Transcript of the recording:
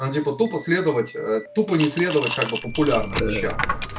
ну типа тупо следовать тупо не следовать как бы популярным вещам